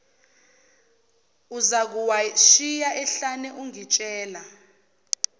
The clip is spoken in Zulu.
uzakuwashiya ehlane ungitshela